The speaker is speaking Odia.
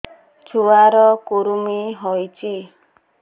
ଛୁଆ ର କୁରୁମି ହୋଇଛି